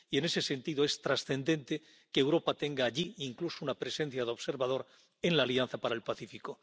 Y, en ese sentido, es trascendente que Europa tenga allí incluso una presencia de observador en la Alianza para el Pacífico.